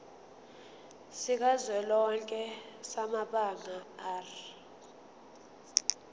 sikazwelonke samabanga r